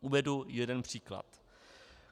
Uvedu jeden příklad.